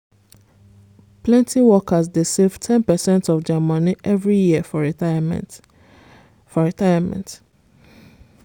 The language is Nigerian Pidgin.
plenty workers dey save ten percent of dia money every year for retirement. for retirement.